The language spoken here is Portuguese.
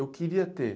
Eu queria ter.